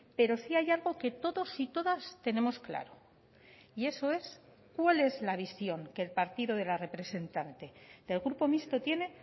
pero sí hay algo que todos y todas tenemos claro y eso es cuál es la visión que el partido de la representante del grupo mixto tiene